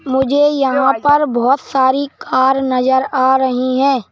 मुझे यहाँ पर बहुत सारी कार नजर आ रही हैं।